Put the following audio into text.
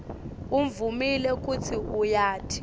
uvumile kutsi uyati